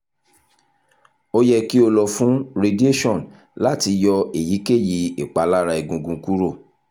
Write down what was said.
o yẹ ki o lọ fun radiation lati yọ eyikeyi ipalara egungun kuro